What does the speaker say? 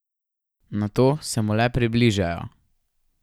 Nato se mu le približajo.